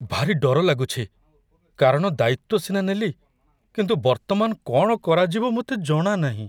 ଭାରି ଡର ଲାଗୁଛି, କାରଣ ଦାୟିତ୍ୱ ସିନା ନେଲି, କିନ୍ତୁ ବର୍ତ୍ତମାନ କ'ଣ କରାଯିବ ମୋତେ ଜଣାନାହିଁ।